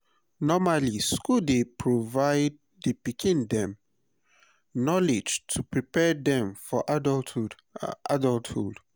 normally school dey provide di pikim dem knowledge to prepare dem for adulthhood adulthhood